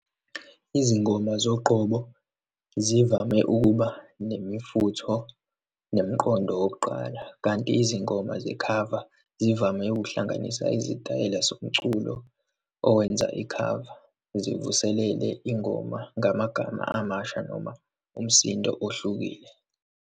Izingoma zoqobo zivame ukuba nemifutho nemqondo wokuqala, kanti izingoma zekhava zivame uhlanganisa izitayela zomculo owenza ikhava, sivuselele ingoma ngamagama amasha noma umsindo ohlukile.